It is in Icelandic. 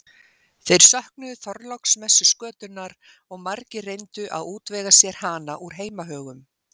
þeir söknuðu þorláksmessuskötunnar og margir reyndu að útvega sér hana úr heimahögum